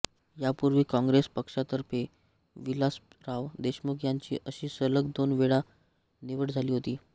यापूर्वी काँग्रेस पक्षातर्फे विलासराव देशमुख यांची अशी सलग दोन वेळा निवड झाली होती